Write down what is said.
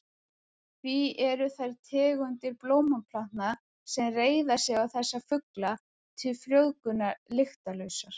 Því eru þær tegundir blómplantna sem reiða sig á þessa fugla til frjóvgunar lyktarlausar.